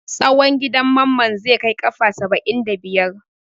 Tsawon gidan Mamman zai kai kafa saba'in da biyar.